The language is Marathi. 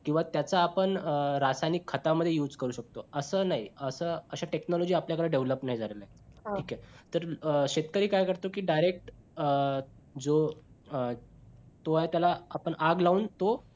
किंवा त्याचा आपण रासायनिक खतामध्ये use करू शकतो असं नाही असं अशा technology आपल्याकडे develop नाही झाल्या आहेत, ठीक आहे शेतकरी काय करतो कि direct अं जो तो त्याला आपण आग लावून तो